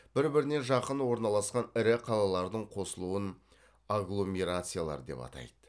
бір біріне жақын орналасқан ірі қалалардың қосылуын агломерациялар деп атайды